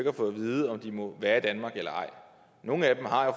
har fået at vide om de må være i danmark eller ej nogle af dem har